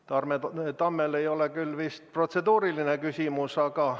Tarmo Tammel ei ole küll vist protseduuriline küsimus?